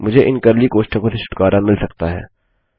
मुझे इन कर्ली कोष्ठकों से छुटकारा मिल सकता है